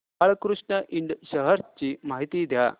Balkrishna Ind shares ची माहिती द्या